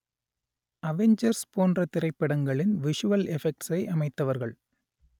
Avengers போன்ற திரைப்படங்களின் visual எஃபெக்ட்ஸை அமைத்தவர்கள்